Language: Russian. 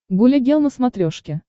гуля гел на смотрешке